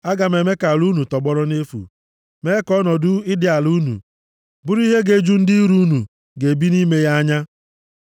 Aga m eme ka ala unu tọgbọrọ nʼefu, mee ka ọnọdụ ịdị ala unu bụrụ ihe ga-eju ndị iro unu ga-ebi nʼime ya anya.